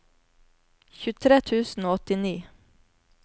tjuetre tusen og åttini